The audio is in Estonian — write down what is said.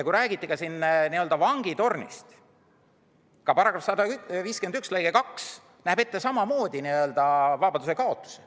Siin räägiti n-ö vangitornist –§ 151 lõige 2 näeb samamoodi ette vabadusekaotuse.